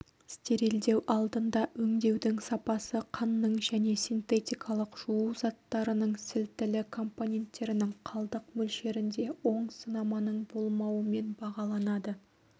стерилдеу алдында өңдеудің сапасы қанның және синтетикалық жуу заттарының сілтілі компоненттерінің қалдық мөлшеріне оң сынаманың болмауымен бағаланады